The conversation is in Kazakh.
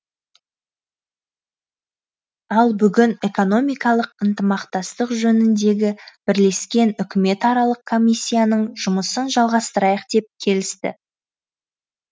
ал бүгін экономикалық ынтымақтастық жөніндегі бірлескен үкіметаралық комиссияның жұмысын жалғастырайық деп келісті